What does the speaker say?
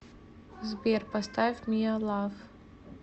сбер поставь миа лав